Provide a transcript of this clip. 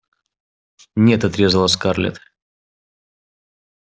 нет отрезала скарлетт